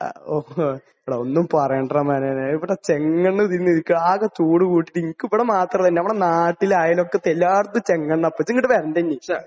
അഹ്. ഓഹ്. എടാ ഒന്നും പറയണ്ടാടാ . ഇവിടെ ചെങ്കണ്ണ് തിന്നിരിക്കുകയാണ്. ആകെ തൂണ് പൊട്ടി നമുക്ക് ഇവിടെ മാത്രമല്ല നമ്മുടെ നാട്ടിലും അയൽവക്കത്തും എല്ലായിടത്തും ചെങ്കണ്ണാ. ഇപ്പോൾ നീ ഇങ്ങോട് വരണ്ട ഇനി.